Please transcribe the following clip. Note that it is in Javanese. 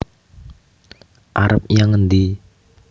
arep nyang endi